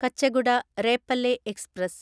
Kacheguda Repalle express